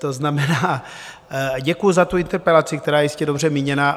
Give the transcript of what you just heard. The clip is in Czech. To znamená, děkuji za tu interpelaci, která je jistě dobře míněna.